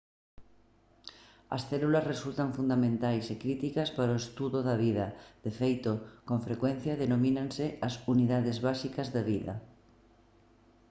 as células resultan fundamentais e críticas para o estudo da vida; de feito con frecuencia denomínanse «as unidades básicas da vida»